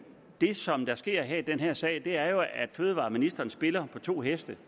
det som der sker i den her sag er jo at fødevareministeren spiller på to heste